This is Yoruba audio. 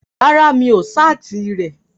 Rárá, mi ò ṣáàtì rẹ̀